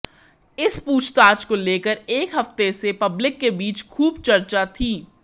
इस पूछताछ को लेकर एक हफ्ते से पब्लिक के बीच खूब चर्चा थी